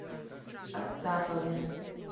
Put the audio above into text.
астапове